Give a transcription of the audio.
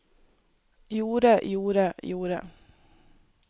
gjorde gjorde gjorde